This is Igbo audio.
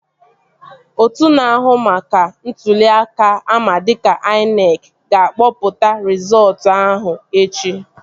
Otu na-ahụ maka ntụli aka ama dịka INEC ga-akpọpụta rizọọtu ahụ echi